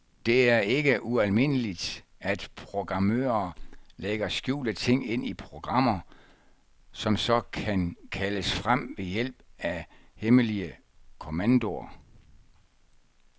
Det er ikke ualmindeligt, at programmører lægger skjulte ting ind i programmer, som så kan kaldes frem ved hjælp af hemmelige kommandoer.